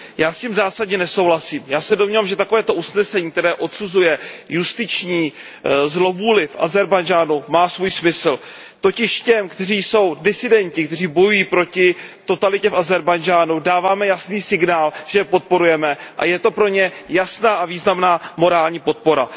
Já s tím zásadně nesouhlasím. Já se domnívám, že toto usnesení, která odsuzuje justiční zlovůli v Ázerbájdžánu, má svůj smysl. Totiž těm, kteří jsou disidenti, kteří bojují proti totalitě v Ázerbájdžánu, dáváme jasný signál, že je podporujeme, a je to pro ně jasná a významná morální podpora.